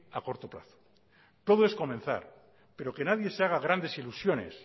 a corto plazo todo es comenzar pero que nadie se haga grandes ilusiones